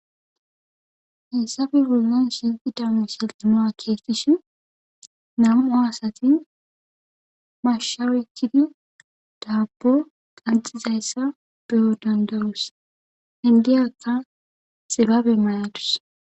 hessafe wullan sinxi daamu shilxinoa keestishin namua asatin mashawechidi daabbo qanxizayssa beyo dandawus hendiyakka xibabe mayadus